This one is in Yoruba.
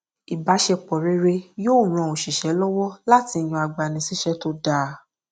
ìbáṣepọ rere yóò ran oṣìṣẹ lọwọ láti yàn agbanisíṣẹ tó dáa